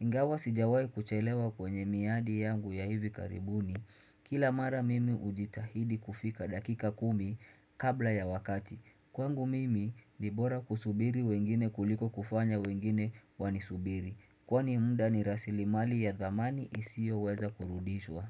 Ingawa sijawai kuchelewa kwenye miadi yangu ya hivi karibuni Kila mara mimi hujitahidi kufika dakika kumi kabla ya wakati kwangu mimi ni bora kusubiri wengine kuliko kufanya wengine wanisubiri kwani muda ni rasilimali ya dhamani isiyoweza kurudishwa.